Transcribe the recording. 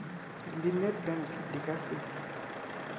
la nedbank di ka se